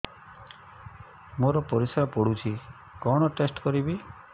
ମୋର ପରିସ୍ରା ପୋଡୁଛି କଣ ଟେଷ୍ଟ କରିବି